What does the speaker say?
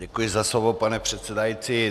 Děkuji za slovo, pane předsedající.